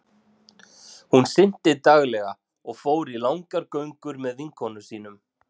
Hún synti daglega og fór í langar göngur með vinkonum sínum.